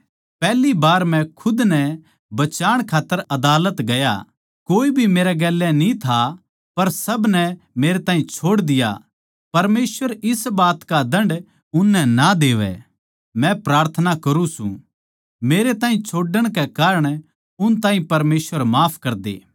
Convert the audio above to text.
पैहली बार मै खुद नै बचाण खात्तर अदालत गया कोए भी मेरे साथ न्ही था पर सब नै मेरे ताहीं छोड़ दिया परमेसवर इस बात का दण्ड उननै ना देवै मै प्रार्थना करुँ सूं मेरे ताहीं छोड़ण के कारण उन ताहीं परमेसवर माफ करदे